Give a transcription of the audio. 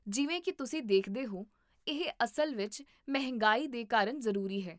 ਜਿਵੇਂ ਕੀ ਤੁਸੀਂ ਦੇਖਦੇ ਹੋ, ਇਹ ਅਸਲ ਵਿੱਚ ਮਹਿੰਗਾਈ ਦੇ ਕਾਰਨ ਜ਼ਰੂਰੀ ਹੈ